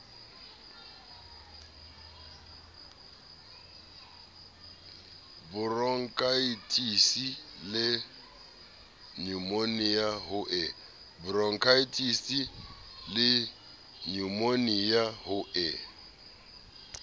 boronkhaetisi le nyumonia ho e